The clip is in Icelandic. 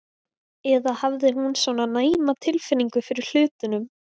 Eða hafði hún svona næma tilfinningu fyrir hlutunum?